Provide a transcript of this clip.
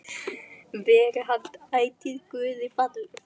Veri hann ætíð Guði falinn.